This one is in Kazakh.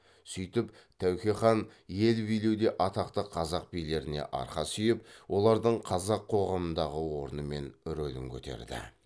сөйтіп тәуке хан ел билеуде атақты қазақ билеріне арқа сүйеп олардың қазақ қоғамындағы орны мен рөлін көтерді